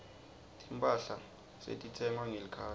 timphahla setitsengwa ngelikhadi